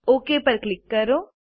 okay પર click કરો